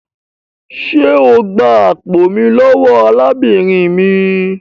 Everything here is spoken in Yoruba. Ṣé o gbà àpò mí lówó arábìnrin mí?